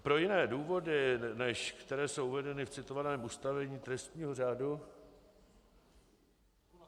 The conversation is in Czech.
Pro jiné důvody, než které jsou uvedeny v citovaném ustanovení trestního řádu...